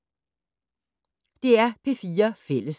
DR P4 Fælles